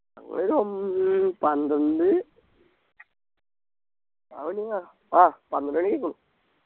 ഒരു ഒൻ പന്ത്രണ്ട് ആഹ് പന്ത്രണ്ടുമണി കഴിഞ്ഞു